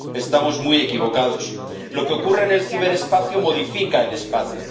Estamos muy equivocados lo que ocurre en el ciberespacio modifica el espacio